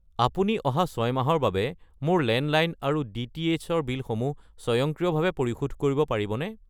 আপুনি অহা 6 মাহৰ বাবে মোৰ লেণ্ডলাইন আৰু ডি.টি.এইচ. ৰ বিলসমূহ স্বয়ংক্ৰিয়ভাৱে পৰিশোধ কৰিব পাৰিবনে?